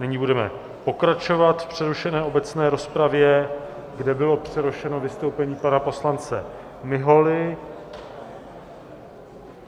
Nyní budeme pokračovat v přerušené obecné rozpravě, kde bylo přerušeno vystoupení pana poslance Miholy.